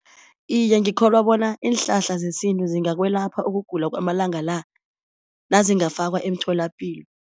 Iye ngikholwa bona iinhlahla zesintu zingakwelapha ukugula kwamalanga la nazingafakwa emtholapilo.